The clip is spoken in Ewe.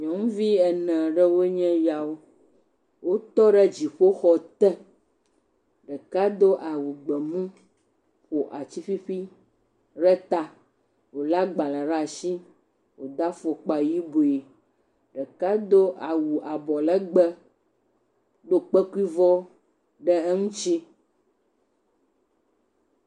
Nynuvi ene ɖewo nye eyawo, wotɔ ɖe dziƒoxɔ te ɖeka ƒo atiƒuiƒui ɖe ta, wòlé agbalẽ ɖe asi wòdo afɔkpa yibɔe, ɖeka do awu abɔ legbee do kpekuivɔ ɖe eŋuti.